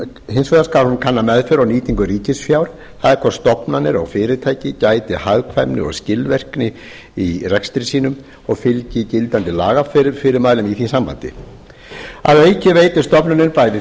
hins vegar skal hún kanna meðferð og nýtingu ríkisfjár e hvort stofnanir og fyrirtæki gæti hagkvæmni og skilvirkni í rekstri sínum og fylgi gildandi lagafyrirmælum í því sambandi að auki veitir stofnunin bæði